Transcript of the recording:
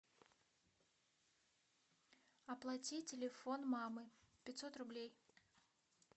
оплати телефон мамы пятьсот рублей